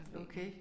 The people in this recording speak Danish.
Okay